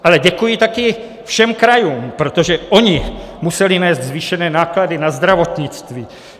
Ale děkuji také všem krajům, protože ony musely nést zvýšené náklady na zdravotnictví.